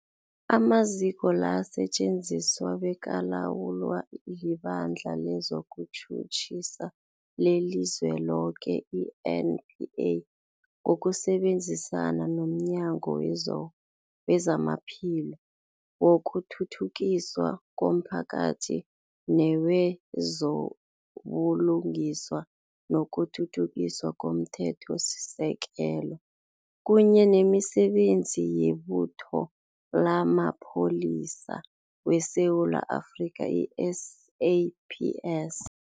Amaziko la asetjenziswa bekalawulwa liBandla lezokuTjhutjhisa leliZweloke, i-NPA, ngokusebenzisana nomnyango wezamaPhilo, wokuthuthukiswa komphakathi newezo buLungiswa nokuThuthukiswa komThethosisekelo, kunye nemiSebenzi yeButho lamaPholisa weSewula Afrika, i-SAPS.